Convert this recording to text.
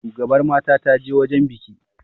shugabar mata ta je wajen biki